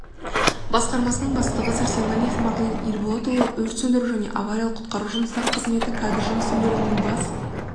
басқармасының бастығы сарсенғалиев марлен ерболатұлы өрт сөндіру және авариялық-құтқару жұмыстары қызметі кадр жұмысы бөлімінің бас